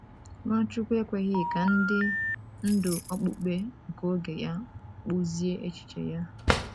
Nwachukwu ekweghị ka ndị ndú okpukpe nke oge ya kpụzie echiche ya.